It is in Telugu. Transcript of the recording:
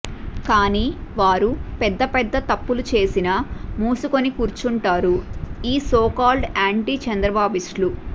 కానీ వారు పెద్ద పెద్ద తప్పులు చేసినా మూసుకుని కూర్చుంటారు ఈ సోకాల్డ్ యాంటీ చంద్రబాబిస్టులు